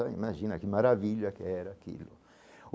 Imagina que maravilha que era aquilo.